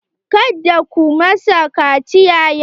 Ka da ku masa kaciya yau!